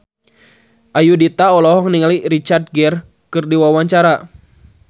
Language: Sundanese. Ayudhita olohok ningali Richard Gere keur diwawancara